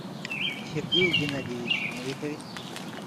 сергее геннадьевиче новикове